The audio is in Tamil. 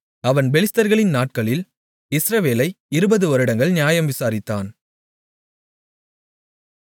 அவன் பெலிஸ்தர்களின் நாட்களில் இஸ்ரவேலை 20 வருடங்கள் நியாயம் விசாரித்தான்